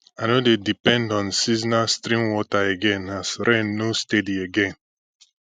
i no dey depend on seasonal stream water again as rain nor steady again